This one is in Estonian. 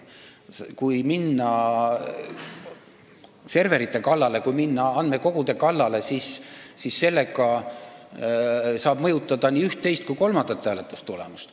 Kui minna serverite kallale või kui minna andmekogude kallale, siis saab mõjutada üht, teist ja ka kolmandat hääletustulemust.